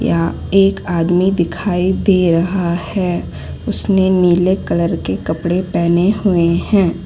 यहां एक आदमी दिखाई दे रहा है उसने नीले कलर के कपड़े पहने हुए हैं।